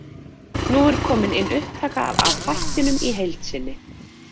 Nú er komin inn upptaka af þættinum í heild sinni.